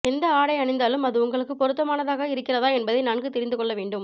எந்த ஆடை அணிந்தாலும் அது உங்களுக்கு பொருத்தமானதாக இருக்கிறதா என்பதை நன்கு தெரிந்துக்கொள்ள வேண்டும்